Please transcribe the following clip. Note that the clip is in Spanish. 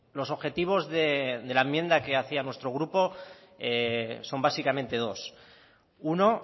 los objetivos de la enmienda que hacía nuestro grupo son básicamente dos uno